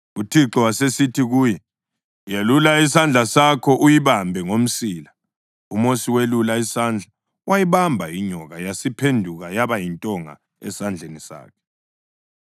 UThixo wasesithi kuye, “Yelula isandla sakho uyibambe ngomsila.” UMosi welula isandla wayibamba inyoka yasiphenduka yaba yintonga esandleni sakhe.